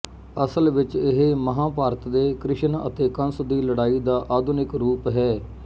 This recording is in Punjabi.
ਅਸਲ ਵਿੱਚ ਇਹ ਮਹਾਭਾਰਤ ਦੇ ਕ੍ਰਿਸ਼ਨ ਅਤੇ ਕੰਸ ਦੀ ਲੜਾਈ ਦਾ ਆਧੁਨਿਕ ਰੂਪ ਹੈ